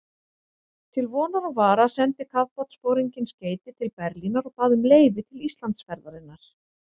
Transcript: Til vonar og vara sendi kafbátsforinginn skeyti til Berlínar og bað um leyfi til Íslandsferðarinnar.